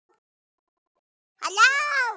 Allir litu á Sólu.